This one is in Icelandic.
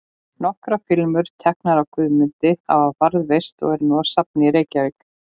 Nokkrar filmur, teknar af Guðmundi, hafa varðveist og eru nú á safni í Reykjavík.